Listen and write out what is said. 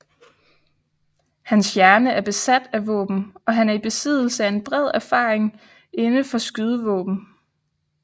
Hans hjerne er besat af våben og han er i besiddelse af en bred erfaring inde for skydevåben